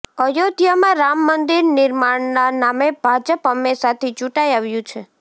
અયોધ્યામાં રામ મંદિર નિર્માણના નામે ભાજપ હંમેશાથી ચૂંટાઈ આવ્યું છે